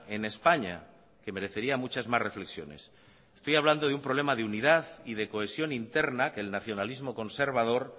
en españa que merecería muchas más reflexiones estoy hablando de un problema de unidad y de cohesión interna que el nacionalismo conservador